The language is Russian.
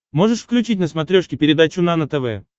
можешь включить на смотрешке передачу нано тв